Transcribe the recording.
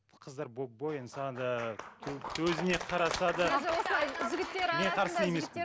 қыздар боянса да өзіне қараса да